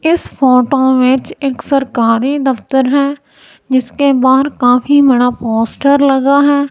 इस फोटो में एक सरकारी दफ्तर है जिसके बाहर काफी बड़ा पोस्टर लगा है।